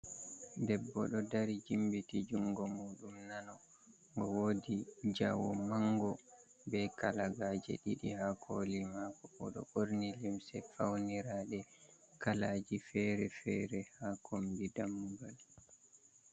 Debbo ɗo dari jimbiti jungo muɗum nano, owodi jawo mango be kalagaje ɗiɗi ha kooli mako, oɗo ɓorni limse fauniraɗe kalaaji fere-fere ha kombi dammugal.